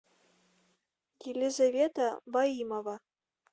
елизавета ваимова